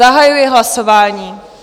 Zahajuji hlasování.